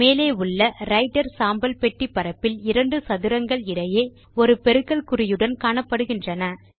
மேலே உள்ள ரைட்டர் சாம்பல் பெட்டி பரப்பில் இரண்டு சதுரங்கள் இடையே ஒரு பெருக்கல் குறியுடன் காணப்படுகின்றன